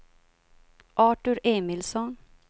Artur Emilsson